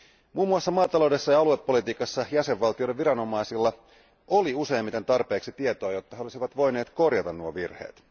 Muun muassa maataloudessa ja aluepolitiikassa jäsenvaltioiden viranomaisilla oli useimmiten tarpeeksi tietoa, jotta he olisivat voineet korjata nuo virheet.